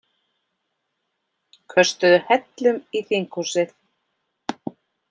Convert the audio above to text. Köstuðu hellum í þinghúsið